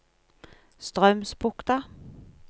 Straumsbukta